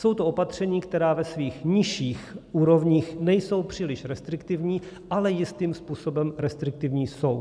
Jsou to opatření, která ve svých nižších úrovních nejsou příliš restriktivní, ale jistým způsobem restriktivní jsou.